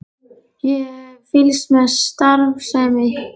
Ég hef fylgst með starfsemi ykkar.